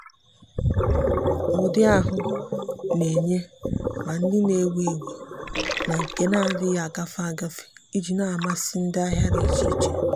ụ́dị́ ahụ́ nà-ènyé ma ndị nà-èwú éwú na nke nà-adị́ghị́ ágafe ágafe iji nà-àmàsị́ ndị ahịa dị iche iche.